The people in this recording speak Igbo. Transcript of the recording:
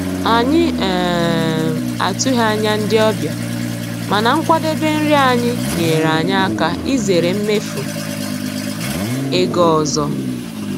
Anyị um atụghị anya ndị ọbịa, mana nkwadebe nri anyị nyeere anyị aka izere mmefu ego ọzọ.